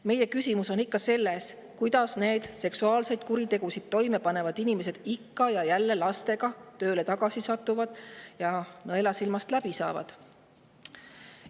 Meie küsimus on, kuidas need seksuaalseid kuritegusid toime pannud inimesed ikka ja jälle lastega töötama satuvad, kuidas nad nõelasilmast läbi saavad.